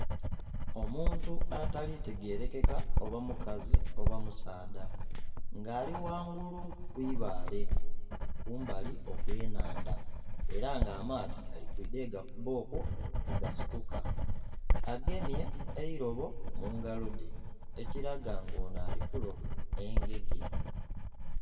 Omuntu atalitegerekeka oba mukazi oba musaadha nga ali ghangulu ku ibaale kumbali okw'enhandha era nga amaadhi gali kwidha ghegakuba okwo bwegasituka agemye eirobo mungalo dhe ekiraga nga ono ali kuloba engege.